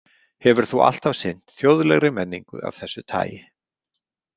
Hefur þú alltaf sinnt þjóðlegri menningu af þessu tagi?